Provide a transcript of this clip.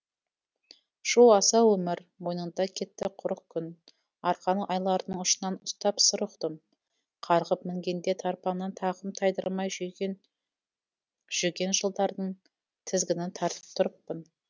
шу асау өмір мойныңда кетті құрық күн арқан айлардың ұшынан ұстап сыр ұқтым қарғып мінгенде тарпаңнан тақым тайдырмай жүген жылдардың тізгінін тартып тұрыппын